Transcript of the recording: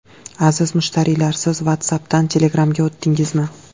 Aziz mushtariylar, siz WhatsApp’dan Telegram’ga o‘tdingizmi?